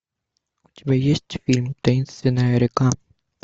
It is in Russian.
у тебя есть фильм таинственная река